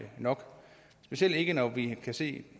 nok specielt ikke når vi kan se